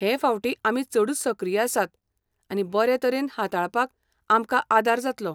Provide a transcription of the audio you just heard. हें फावटीं आमी चडूच सक्रीय आसात आनी बरें तरेन हाताळपाक आमकां आदार जातलो.